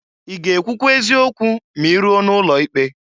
I ga-ekwụkwa eziokwu ma iruo n'ụlọ ikpe?